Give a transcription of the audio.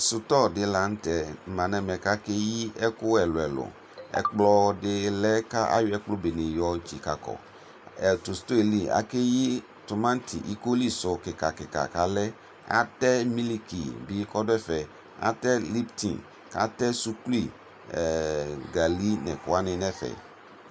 Sʋtɔ di lanʋtɛ ma nʋ ɛmɛ kʋ akeyi ɛkʋ ɛlʋ ɛlʋ ɛkplɔdi lɛ kʋ ayɔ ɛkplɔ benedi yɔyo tsikekɔ tʋ sʋtɔ yɛli akeyɩ tumati ikoli su kika kika kʋ atɛ milikibi kʋ ɔdʋ ɛfɛ atɛ liptin atɛ suklui gali nʋ ɛkʋ wani nʋ ɛfɛ